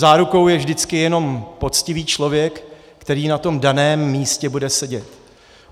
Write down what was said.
Zárukou je vždycky jenom poctivý člověk, který na tom daném místě bude sedět.